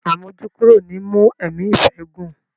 Àmójúkúrò ni í mú ẹ̀mí ìfẹ́ gùn.